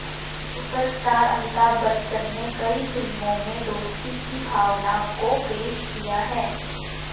super star Amitabh Bachchan ने कई फिल्मों में दोस्ती की भावना को पेश किया है